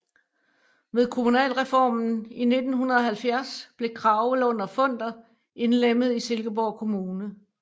Ved kommunalreformen i 1970 blev Kragelund og Funder indlemmet i Silkeborg Kommune